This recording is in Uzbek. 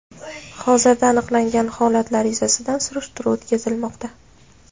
Hozirda aniqlangan holatlar yuzasidan surishtiruv o‘tkazilmoqda.